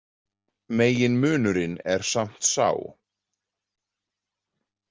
Meginmunurinn er samt sá.